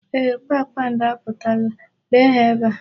Eeh, kpakpando apụtala. Lee ha ebe a.